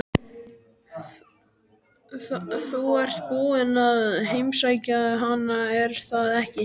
Þú ert búinn að heimsækja hana, er það ekki?